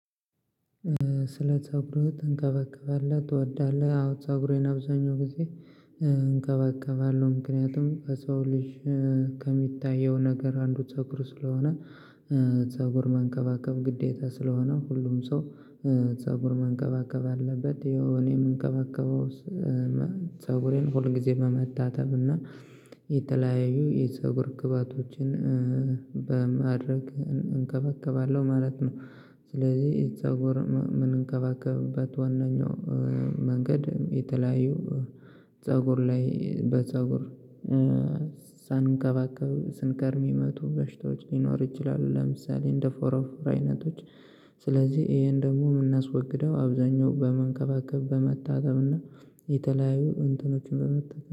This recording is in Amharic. ስለ ፀጉሩ ትንከባከባለህ ትወዳለህ? አዎ ፀጉሬን አብዛኛው ጊዜ። እንከባከባለው ምክንያቱም ከሰው ልጅ ከሚታየው ነገር አንዱ ፀጉር ስለሆነ። ፀጉር መንከባከብ ግዴታ ስለሆነ ሁሉም ሰው ፀጉር መንከባከብ አለበት። እኔ የምንከባከበው ፀጉሬን ሁል ጊዜ በመታጠብ እና የተለያዩ የፀጉር ግብአቶችን በማድረግ እንከባከባለሁ ማለት ነው። ስለዚህ የፀጉር ምን እምንከባከብበት ዋናኛው መንገድ የተለያዩ ፀጉር ላይ በፀጉር ሳንከባከብ ስንከርም የሚመቱ በሽታዎች ሊኖሩ ይችላሉ። ለምሳሌ እንደ ፎሮፎር አይነቶች ስለዚህ ይሄን ደግሞ የምናስወግደው አብዛኛው በመንከባከብ በመታተብና እና የተለያዩ እንትቀኖችን በመጠ